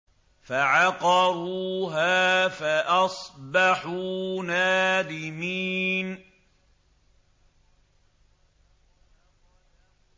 فَعَقَرُوهَا فَأَصْبَحُوا نَادِمِينَ